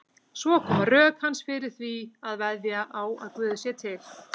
Svo koma rök hans fyrir því að veðja á að Guð sé til.